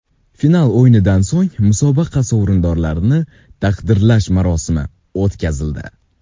Final o‘yinidan so‘ng musobaqa sovrindorlarini taqdirlash marosimi o‘tkazildi.